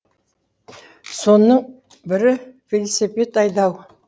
соның бірі велосипед айдау